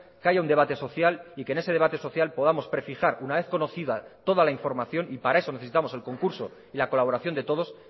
que haya un debate social y que en ese debate social podamos prefijar una vez conocida toda la información y para eso necesitamos el concurso y la colaboración de todos